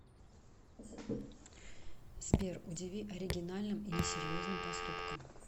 сбер удиви оригинальным и несерьезным поступком